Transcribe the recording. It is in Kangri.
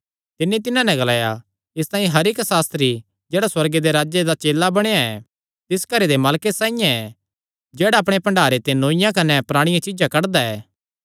तिन्नी तिन्हां नैं ग्लाया इसतांई हर इक्क सास्त्री जेह्ड़ा सुअर्गे दे राज्जे दा चेला बणेया ऐ तिस घरे दे मालके साइआं ऐ जेह्ड़ा अपणे भण्डारे ते नौईआं कने पराणियां चीज्जां कड्डदा ऐ